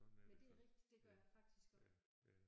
Men det er rigtigt det gør jeg faktisk også